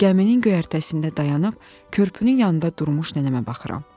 Gəminin göyərtəsində dayanıb körpünün yanında durmuş nənəmə baxıram.